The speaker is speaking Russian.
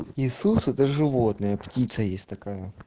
иисус это животное птица есть такая